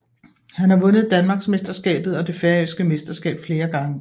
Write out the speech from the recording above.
Han har vundet danmarksmesterskabet og det færøske mesterskab flere gange